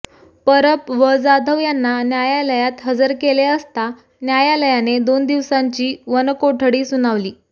परब व जाधव यांना न्यायालयात हजर केले असता न्यायालयाने दोन दिवसांची वनकोठडी सुनावली